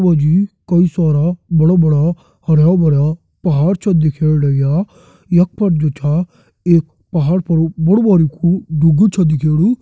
यख मा जी कई सारा बड़ा बड़ा हरयाँ भर्यां पहाड़ छ दिखेण लग्यां यख पर जु छ एक पहाड़ पर बड़ु बारिकु डुगू छ दिखेणु।